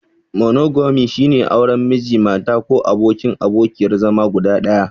Monogami, shine auren Miji/Mata ko abokin/abokiyar zama guda ɗaya.